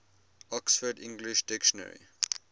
oxford english dictionary